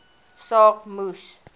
saak moes